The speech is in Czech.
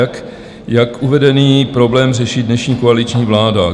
A jak uvedený problém řeší dnešní koaliční vláda?